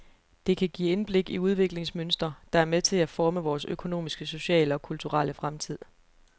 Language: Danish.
Det kan give indblik i udviklingsmønstre, der er med til at forme vores økonomiske, sociale og kulturelle fremtid.